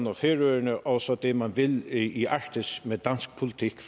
og færøerne og så det man vil i arktis med dansk politik